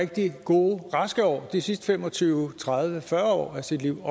rigtig gode raske år også de sidste fem og tyve tredive fyrre år af sit liv